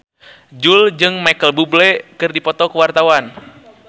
Jui jeung Micheal Bubble keur dipoto ku wartawan